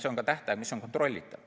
Ja see on tähtaeg, mis on kontrollitav.